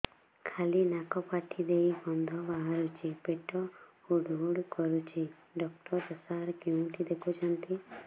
ଖାଲି ନାକ ପାଟି ଦେଇ ଗଂଧ ବାହାରୁଛି ପେଟ ହୁଡ଼ୁ ହୁଡ଼ୁ କରୁଛି ଡକ୍ଟର ସାର କେଉଁଠି ଦେଖୁଛନ୍ତ